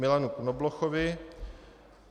Milanu Knoblochovi